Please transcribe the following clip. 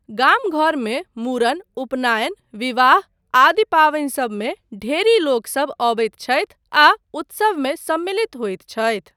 गामघरमे मूड़न, उपनयन, विवाह आदि पाबनिसबमे ढेरी लोकसब अबैत छथि आ उत्सवमे सम्मिलित होइत छथि।